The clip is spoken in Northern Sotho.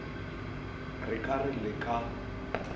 re ka re le ka